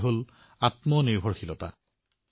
এয়াইতো হল আত্মনিৰ্ভৰতা